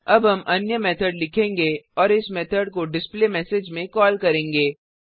अब हम अन्य मेथड लिखेंगे और इस मेथड को डिस्प्लेमेसेज में कॉल करेंगे